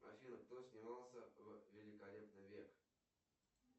афина кто снимался в великолепный век